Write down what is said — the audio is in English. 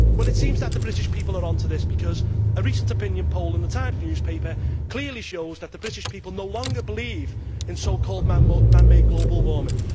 It seems that the British people are onto this, because a recent opinion poll in The Times newspaper clearly shows that the British people no longer believe in so called man made global warming.